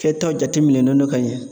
Kɛtaw jateminɛlen do ka ɲɛ.